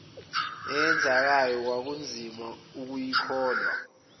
eyenzekayo kwakunzima ukuyikholwa